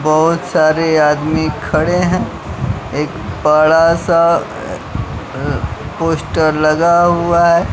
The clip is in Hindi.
बहुत सारे आदमी खड़े हैं एक बड़ा सा पोस्टर लगा हुआ है।